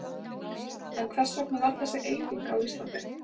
En hvers vegna varð þessi eyðing á Íslandi?